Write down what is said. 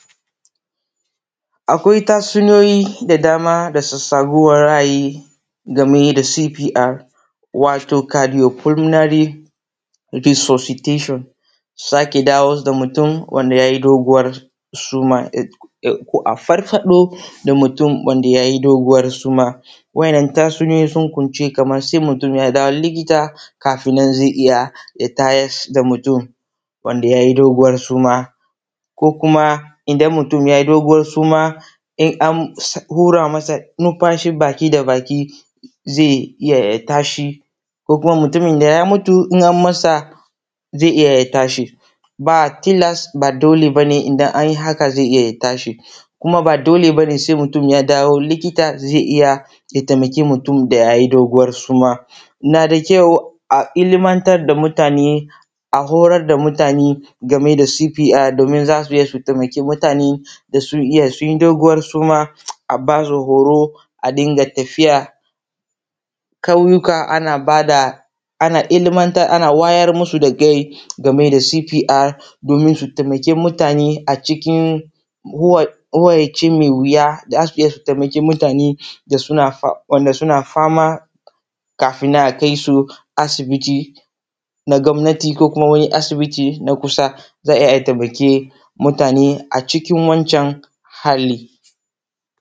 Akwai tatsusiyuni da dama da sassa buwar ra’ayi da mu yi da cpr watu kalmuyu fulminari disutetushion saki dawu wa da mutun wanda ya yi duguwar suma, ko a farfaɗo da mutum wanda ya yi doguwar suma wa’innan tatsuniyoyi sun kunsa kumu tun ya da wu likita kafin nan ze iya ya tayas ta mutum wanda ya yi duguwar suma ko kuma idan mutum ya yi doguwar suma in an wura masa nimfashin baki da baki ze iya ya tashi ko kuma mutumin da ya mutu in ammasa ze iya ya tashi ba telas ba dole ba ne idan an yi haka ze iya ya tashi, kuma ba dole nane se mutum ya dawo ze iya ya taimaki mutum da ya yi doguwar suma. Na da kyau a ilimantar da mutane a horar da mutane game da cpr domin za su iya su taimaki mutane da sun iya sun yi doguwar suma a ba su horo, a dinga tafiya ƙauyuka ana ba da ana ilimantar ana wayar musu da kai game da cpr domin su taimaki mutane. A cikin horaci me wuya da su taimaki wanda suna fama kafin a kai su asibiti na gwamnati ko asibiti na kusa domin su taimaki mutane a cikin wancan hali.